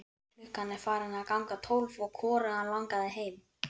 Klukkan var farin að ganga tólf og hvorugan langaði heim.